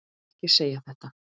Ekki segja þetta!